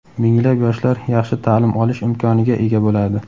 Minglab yoshlar yaxshi ta’lim olish imkoniga ega bo‘ladi.